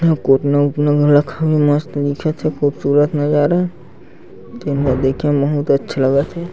आऊ कोटना उटना म रखे हे मस्त दिखत हे खूबसूरत नज़ारा तेन ला देखे म बहुत अच्छा लगत हे।